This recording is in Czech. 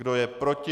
Kdo je proti?